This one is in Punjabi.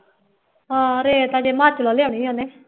ਹਾਂ ਰੇਤ ਹਜੇ ਹਿਮਾਚਲੋਂ ਲਿਆਉਣੀ ਉਹਨੇ